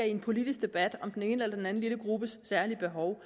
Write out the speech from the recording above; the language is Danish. i en politisk debat om den ene eller den anden lille gruppes særlige behov